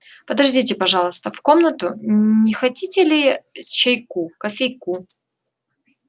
подождите пожалуйста в комнату не хотите ли чайку кофейку